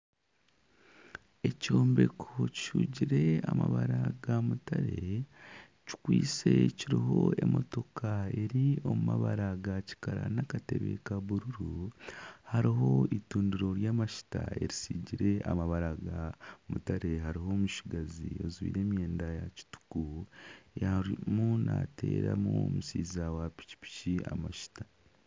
Ekyombeko kihugire amabara ga mutare kikwaitse kiriho emotooka eri omu mabara ga kikara n'akatebe ka buruuru, hariho entudiro ry'amajuta eritsigire amabara ga mutare hariho omutsigazi ajwaire emyenda ya kituuku arimu nateeramu omushaija wa piki piki amajuta.